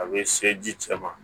A bɛ se ji cɛ ma